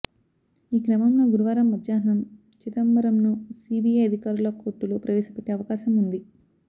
ఈ క్రమంలో గురువారం మధ్యాహ్నం చిదంబరంను సీబీఐ అధికారులు కోర్టులో ప్రవేశపెట్టే అవకాశం ఉంది